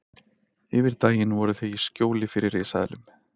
Yfir daginn voru þau í skjóli fyrir risaeðlum.